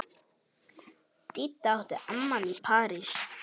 Didda átti afmæli í París.